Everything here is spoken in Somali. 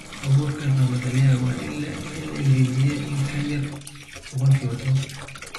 Abuurka gabbaldayaha waa in la engejiyaa in ka yar boqolkiba tawan qoyaan.